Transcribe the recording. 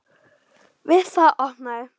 Við það opnaði